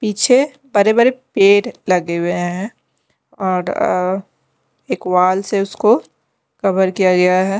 पीछे बड़े-बड़े पेड़ लगे हुए हैं और एक वाल से उसको कवर किया गया है।